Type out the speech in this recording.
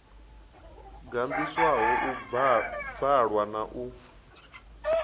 gandiswaho u bvalwa na u